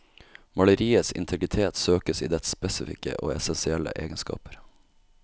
Maleriets integritet søkes i dets spesifikke og essensielle egenskaper.